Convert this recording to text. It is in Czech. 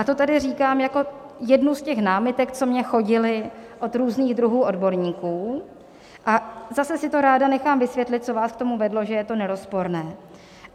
A to tady říkám jako jednu z těch námitek, co mně chodily od různých druhů odborníků, a zase si to ráda nechám vysvětlit, co vás k tomu vedlo, že je to nerozporné.